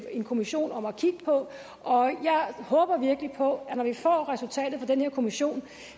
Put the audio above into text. kommission om at kigge på jeg håber virkelig på at når vi får resultatet fra den her kommission